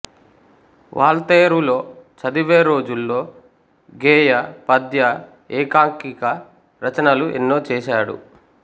వాల్తేరులో చదివేరోజుల్లో గేయ పద్య ఏకాంకికా రచనలు ఎన్నో చేశాడు